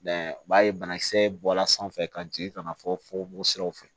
u b'a ye banakisɛ bɔla sanfɛ ka jigin ka na fɔko siraw fɛ